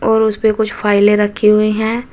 और उसपे कुछ फाइले रखी हुई हैं।